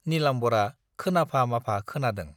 नीलाम्बरा खोनाफा-माफा खोनादों।